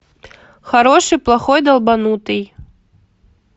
хороший плохой долбанутый